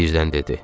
Birdən dedi.